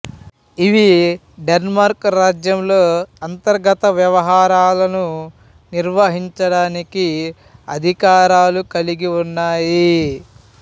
ఇవి డెన్మార్క్ రాజ్యంలో అంతర్గత వ్యవహారాలను నిర్వహించడానికి అధికారాలు కలిగి ఉన్నాయి